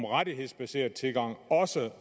rettighedsbaseret tilgang